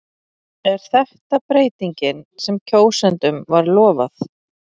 Er þetta breytingin sem kjósendum var lofað?